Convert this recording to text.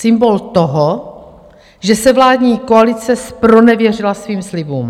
Symbol toho, že se vládní koalice zpronevěřila svým slibům.